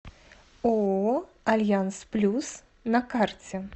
ооо альянс плюс на карте